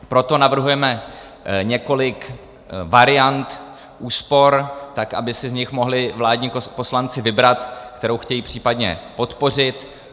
Proto navrhujeme několik variant úspor, tak aby si z nich mohli vládní poslanci vybrat, kterou chtějí případně podpořit.